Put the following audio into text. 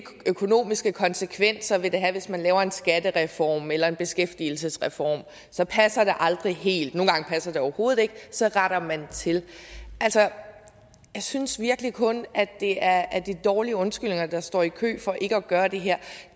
økonomiske konsekvenser det vil have hvis man laver en skattereform eller en beskæftigelsesreform så passer det aldrig helt nogle gange passer det overhovedet ikke og så retter man det til altså jeg synes virkelig kun det er dårlige undskyldninger der står i kø for ikke at gøre det her